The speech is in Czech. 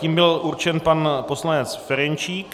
Tím byl určen pan poslanec Ferjenčík.